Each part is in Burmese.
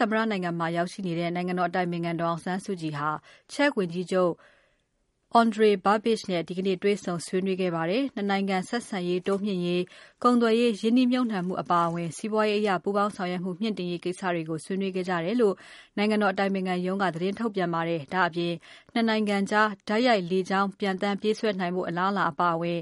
သမ္မတနိုင်ငံမှာ ရောက်နေတဲ့ နိုင်ငံတော် အတိုင်ပင်ခံပုဂ္ဂိုလ် ဒေါ်အောင်ဆန်းစုကြည်ဟာ Czech ဝန်ကြီးချုပ် Andrej Babiš နဲ့ ဒီကနေ့ တေ့ွဆုံ ဆွေးနွေးပါတယ်။ နှစ်နိုင်ငံ ဆက်ဆံရေးတိုးမြှင့်ရေး၊ ကုန်သွယ်ရေး ရင်းနှီးမြှုပ်နှံမှုအပါအဝင် စီးပွားရေးအရ ပူးပေါင်းဆောင်ရွက်မှု မြှင့်တင်ရေးကိစ္စတွေကို ဆွေးနွေးခဲ့ကြတယ်လို့ နိုင်ငံတော် အတိုင်ပင်ခံရုံးက သတင်းထုတ်ပြန်ပါတယ်။ ဒါ့အပြင် နှစ်နိုင်ငံကြား တိုက်ရိုက်လေကြောင်း ပျံသန်းပြေးဆွဲနိုင်ဖို့ အလားအလာ အပါအဝင်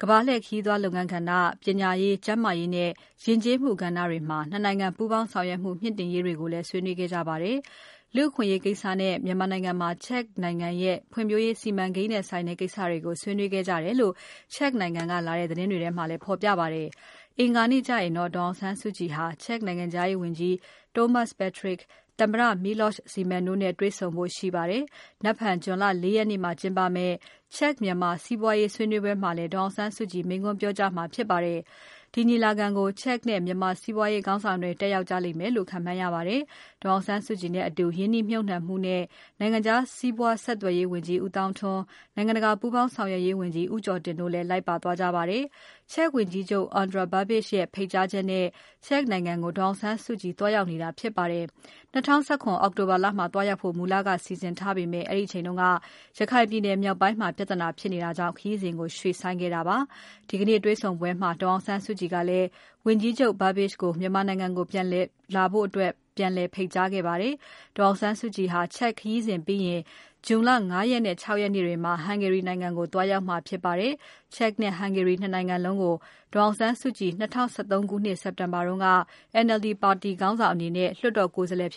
ကမ္ဘာလှည့် ခရီးသွားလုပ်ငန်းကဏ္ဍ၊ ပညာရေး၊ ကျန်းမာရေးနဲ့ ယဉ်ကျေးမှုကဏ္ဍတွေမှာ နှစ်နိုင်ငံ ပူးပေါင်းဆောင်ရွက်မှု မြှင့်တင်ရေးတွေကိုလည်း ဆွေးနွေးခဲ့ကြပါတယ်။ လူ့အခွင့်အရေးနဲ့ မြန်မာနိုင်ငံမှာ Czech နိုင်ငံရဲ့ ဖွံ့ဖြိုးရေးစီမံကိန်းနဲ့ဆိုင်တဲ့ကိစ္စတွေကို ဆွေးနွေးခဲ့ကြတယ်လို့ Czech နိုင်ငံက လာတဲ့သတင်းတွေမှာလည်း ဖော်ပြပါတယ်။ အင်္ဂါနေ့ကျရင်တော့ ဒေါ်အောင်ဆန်းစုကြည်ဟာ Czech နိုင်ငံခြားရေးဝန်ကြီး Tomáš Petříček၊ သမ္မတ Miloš Zeman တို့နဲ့ တွေ့ဆုံဖို့ရှိပါတယ်။ ဇွန်လ ၄ ရက်နေ့မှာကျင်းပမယ့် Czech-Myanmar စီးပွားရေးဆွေးနွေးပွဲမှာလည်း ဒေါ်အောင်ဆန်းစုကြည် မိန့်ခွန်းပြောကြားမှာဖြစ်ပါတယ်။ ဒီညီလာခံကို Czech နဲ့ မြန်မာစီးပွားရေး ခေါင်းဆောင်တွေ တက်ရောက်ကြမယ့်လို့ ခန့်မှန်းရပါတယ်။ ဒေါ်အောင်ဆန်းစုကြည်နဲ့အတူ ရင်းနှီးမြှုပ်နှံမှုနဲ့ နိုင်ငံခြား စီးပွားဆက်သွယ်ရေးဝန်ကြီး ဦးသောင်းထွန်း၊ နိုင်ငံတကာ ပူးပေါင်းဆောင်ရွက်ရေးဝန်ကြီး ဦးကျော်တင်တို့လည်း လိုက်ပါသွားကြပါတယ်။ Czech ဝန်ကြီးချုပ် Andrej Babiš ရဲ့ဖိတ်ကြားချက်နဲ့ Czech နိုင်ငံကို ဒေါ်အောင်ဆန်းစုကြည် သွားရောက်နေတာ ဖြစ်ပါတယ်။ ၂၀၁၇ အောက်တိုဘာလမှာ သွားရောက်ဖို့ မူလက စီစဉ်ထားပေမဲ့ အဲဒီအချိန်က ရခိုင်ပြည်နယ်မြောက်ပိုင်းမှာ ပြဿနာဖြစ်လာတာကြောင့် ခရီးစဉ်ကို ရွှေ့ဆိုင်းခဲ့တာ ဖြစ်ပါတယ်။ ဒေါ်အောင်ဆန်းစုကြည်ဟာ Czech ခရီးစဉ်ပြီးရင် ဇွန်လ ၅ ရက်နဲ့ ၆ ရက်မှာ ဟန်ဂေရီနိုင်ငံကို သွားရောက်မှာ ဖြစ်ပါတယ်။ Czech နဲ့ ဟန်ဂေရီ နှစ်နိုင်ငံလုံးကို ၂၀၁၃ ခုနှစ်၊ စက်တင်ဘာလတုန်းက NLD ပါတီခေါင်းဆောင်၊ လွှတ်တော်ကိုယ်စားလှယ်အဖြစ်